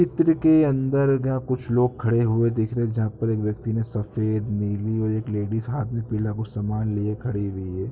चित्र के अंदर जहां कुछ लोग खड़े हुए दिख रहे जहां पर एक व्यक्ति ने सफेद नीली और एक लेडीज़ हाथ में पीला कुछ सामान लिए खड़ी हुई है।